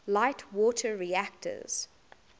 light water reactors